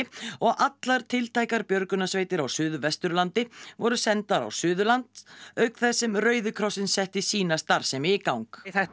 og allar tiltækar björgunarsveitir á Suðvesturlandi voru sendar á Suðurland auk þess sem Rauði krossinn setti sína starfsemi í gang þetta er